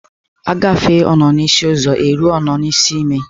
A gafee ọnọ n'isi ụzọ e ruo ọnọ n'isi ime.